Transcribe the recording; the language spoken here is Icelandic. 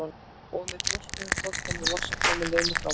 Og með þrjóskunni tókst henni loks að koma Lenu fram úr.